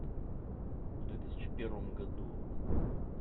в две тысячи первом году